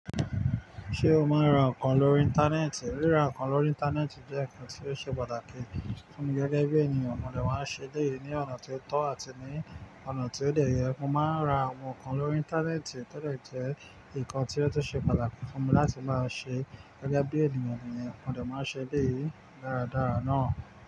Ṣé o máa ń ra nǹkan lórí Íńtánẹ́ẹ̀tì? Ríra nǹkan lórí Íńtánẹ́ẹ̀tì jẹ́ nǹkan tí ó ṣe pàtàkì fún mi gẹ́gẹ́ bí ènìyàn. Mo dẹ máa ń ṣe eléyìí ní ọ̀nà ti ó tọ́ àti ní ọ̀nà ti ó dẹ́ yẹ. Mo máa ń ra àwọn nǹkan lórí Íńtánẹ́ẹ̀tì to dẹ jú nkan tí ó tún ṣe pàtàkì fún mi láti máa ṣe gẹ́gẹ́ bí ènìyàn nìyẹn. Mo dẹ máa ṣe eleyìí dáradára ná.